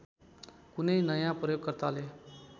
कुनै नयाँ प्रयोगकर्ताले